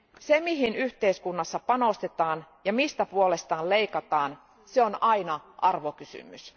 Se, mihin yhteiskunnassa panostetaan ja mistä puolestaan leikataan, se on aina arvokysymys.